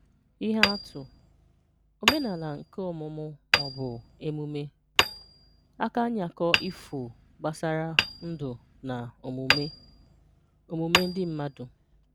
Ìhè Àtụ̀: Òmènàlà nké ọ̀mụ̀mụ̀ ma ọ̀ bụ̀ emùmé. Àkànyà̀kọ̀ ifò gbasàrà̀ ndú na òmùmè̀ òmùmè̀ ndị́ mmádụ̀